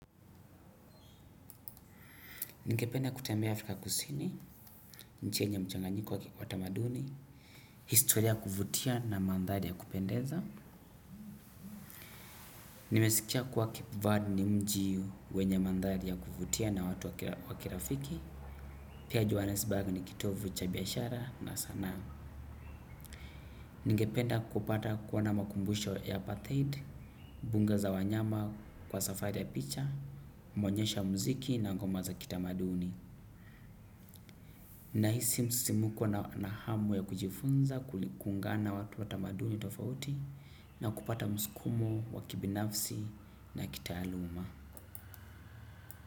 Ningependa kutembea Afrika kusini, nchi yenye mchanganyiko wa kitamaduni, historia ya kuvutia na mandhari ya kupendeza. Nimesikia kuwa cape Verde ni mji wenye mandhari ya kuvutia na watu wa kirafiki. Pia Johannesburg ni kitovu cha biashara na sanaa. Ningependa kupata kuona makumbusho ya Pathaid, mbuga za za wanyama kwa safari ya picha, maonyesho ya muziki na goma za kitamaduni. Nahisi msimuko na hamu ya kujifunza kuli kuungana na watu wa tamaduni tofauti na kupata msukumo, wa kibinafsi na kitaaluma.